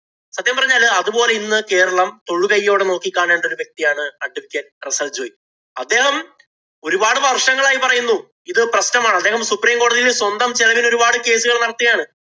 സത്യം പറഞ്ഞാല് അതുപോലെ ഇന്ന് കേരളം തൊഴുകൈയോടെ നോക്കി കാണേണ്ടൊരു വ്യക്തിയാണ് Advocate റസ്സല്‍ ജോയി. അദ്ദേഹം ഒരുപാട് വര്‍ഷങ്ങളായി പറയുന്നു ഇത് പ്രശ്നമാണ്. അദ്ദേഹം supreme കോടതിയില്‍ സ്വന്തം ചെലവിലൊരുപാട് case ഉകള്‍ നടത്തിയതാണ്.